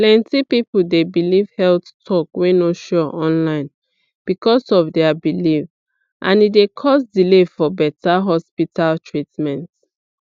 plenty people dey believe health talk wey no sure online because of their belief and e d cause delay for beta hospital treatment